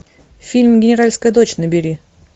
фильм генеральская дочь набери